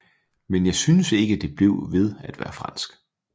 Men jeg synes ikke det blev ved med at være fransk